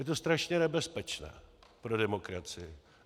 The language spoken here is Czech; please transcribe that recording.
Je to strašně nebezpečné pro demokracii.